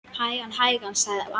Hægan, hægan sagði amma.